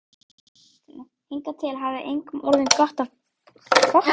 Hingað til hafði engum orðið gott af bægslagangi.